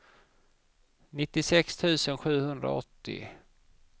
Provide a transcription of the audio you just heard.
nittiosex tusen sjuhundraåttio